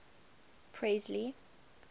presley